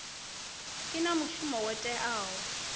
i na mushumo wo teaho